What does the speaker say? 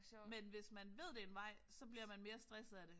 Men hvis man ved det er en vej så bliver man mere stresset af det